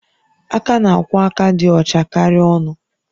Aka na-akwọ aka dị ọcha karịa ọnụ